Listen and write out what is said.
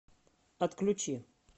отключи